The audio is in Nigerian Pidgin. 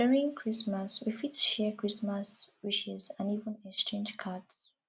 during christmas we fit share christmas wishes and even exchange cards